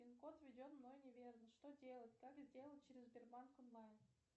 пин код введен мной неверно что делать как сделать через сбербанк онлайн